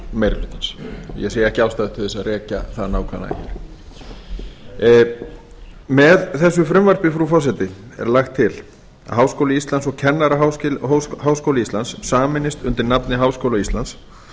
nefndaráliti meiri hlutans ég sé ekki ástæðu til að rekja það nákvæmlega hér með þessu frumvarpi frú forseti er lagt til að háskóli íslands og kennaraháskóli íslands sameinist undir nafni háskóla íslands